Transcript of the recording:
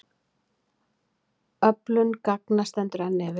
Öflun gagna stendur enn yfir.